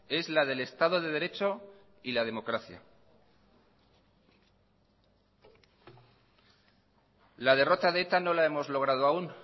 es la del estado de derecho y la democracia la derrota de eta no la hemos logrado aún